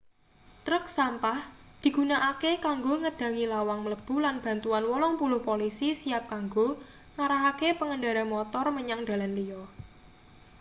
truk sampah digunakake kanggo ngedhangi lawang mlebu lan bantuan 80 polisi siap kanggo ngarahake pengendara motor menyang dalan liya